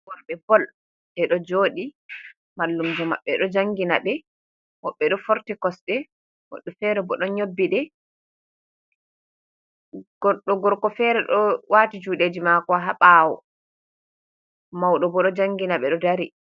Worbe bol bedo jodi mallumjo maɓɓe do jangina ɓe, woɓɓe do forti kosde moddo fere bo don nyobbide grdo gorko fere do wati judeji mako ha bawo maudo bo do jangina be do dari.